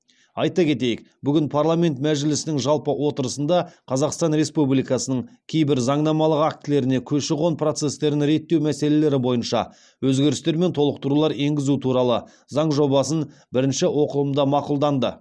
айта кетейік бүгін парламент мәжілісінің жалпы отырысында қазақстан республикасының кейбір заңнамалық актілеріне көші қон процестерін реттеу мәселелері бойынша өзгерістер мен толықтырулар енгізу туралы заң жобасын бірінші оқылымда мақұлданды